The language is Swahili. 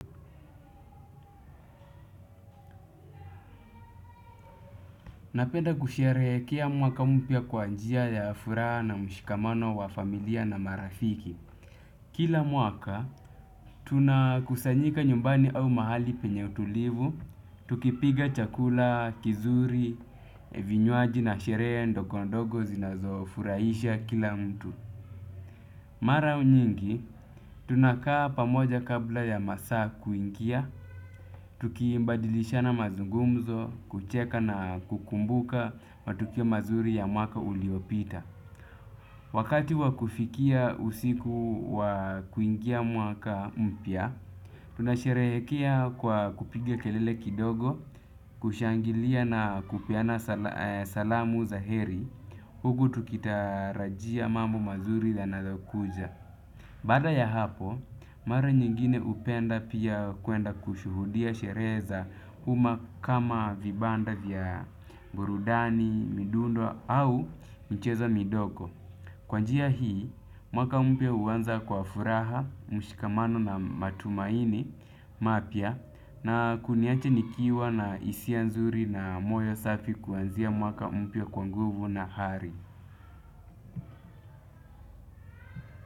Napenda kusherekea mwaka mpya kwa njia ya furaha na mshikamano wa familia na marafiki. Kila mwaka, tuna kusanyika nyumbani au mahali penye utulivu. Tukipika chakula, kizuri, vinywaji na shere ndogondogo zinazofuraisha kila mtu. Mara nyingi, tunakaa pamoja kabla ya masaa kuinkia. Tukibadilishana mazungumzo, kucheka na kukumbuka matukio mazuri ya mwaka uliopita. Wakati wa kufikia usiku wa kuingia mwaka mpya, tunasherehekea kwa kupiga kelele kidogo, kushangilia na kupeana salamu zaheri. Huku tukitarajia mamu mazuri yanazokuja. Bada ya hapo, mara nyingine upenda pia kuenda kushuhudia shereza huma kama vibanda vya burudani, midundo au mcheza midoko. Kwa njia hii, mwaka mpya uwanza kwa furaha, mshikamano na matumaini, mapya, na kuniacha nikiwa na hisia nzuri na moyo safi kuanzia mwaka mpya kwa nguvu na hari.